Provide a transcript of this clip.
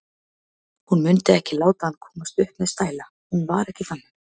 Hún mundi ekki láta hann komast upp með stæla, hún var ekki þannig.